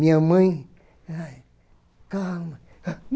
Minha mãe, ai, calma.